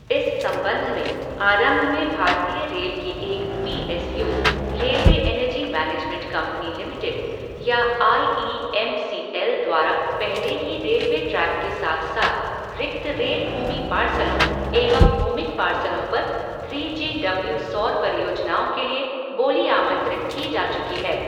इस संबंध में आरंभ में भारतीय रेल की एक P S U, railway energy management company limited या I E M C L द्वारा पहले ही रेलवे ट्रैक के साथ साथ रिक्त रेल भूमि पार्सलों एवं भूमिक पार्सलों पर थ्री जी डब्ल्यू सौर परियोजनाओं के लिए बोली आमंत्रित की जा चुकी है।